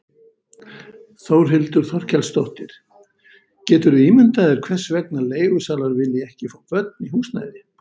Þórhildur Þorkelsdóttir: Geturðu ímyndað þér hvers vegna leigusalar vilja ekki fá börn í húsnæði?